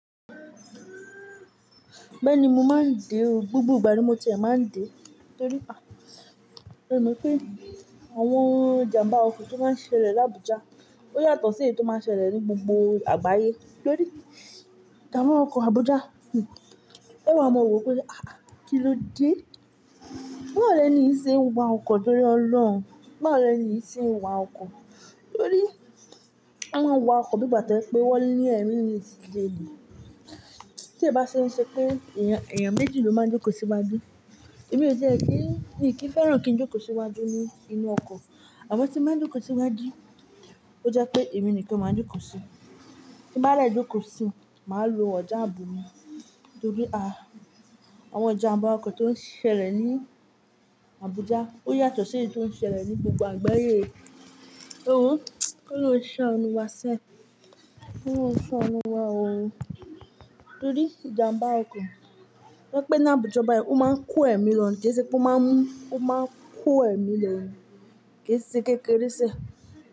Bẹ́ẹ̀ni, mo máa ń dè ọ́, gbogbo ìgbà ni mo ti máa ń dè é. Torí pé àwọn ìjàmbá ọkọ̀ tó máa ń ṣẹlẹ̀ ní Abuja ó yàtọ̀ sí èyí tó máa ń ṣẹlẹ̀ ní gbogbo àgbáyé. Torí ìjàmbá ọkọ̀ Abuja, o wà mọ̀ wò wípé, àáàh kilode? Báwọ lẹni í ṣe ń wa ọkọ̀ tórí ọlọ́run, báwọ lẹni í ṣe ń wa ọkọ̀. Torí a máa ń wa ọkọ̀ bí ìgbà tó je pé wọ́n ní ẹ̀mí mii sil'ẹ̀ ní. Tí ẹ bá ṣe ẹ ṣe pé èèyàn méjì ló máa ń jókòó síwájú, èmi yóò jẹ́ kí ìkí fẹ́ràn kí n jókòó síwájú nínú ọkọ̀ àmọ́ tí mo bá jókòó síwájú, ó jẹ́ pé èmi nìkan máa ń jókòó sí. Tí bá dẹ jókòó sí, màá lo ọjà ààbò mi. Torí àwọn ìjàmbá ọkọ̀ tó ń ṣẹlẹ̀ ní Abuja ó yàtọ̀ sí èyí tó ń ṣẹlẹ̀ ní gbogbo àgbáyé. E wo kò loun saanu wa se, ko loun saanu wa o. Torí ìjàmbá ọkọ̀ to jepe ní Abuja báyìí, ó máa ń ko ẹ̀mí lọ́nà kẹ́ṣẹ̀ pe máa n mu, o ma n kò ẹ̀mí lo ni, kẹ́ṣẹ̀ kékeré sẹ̀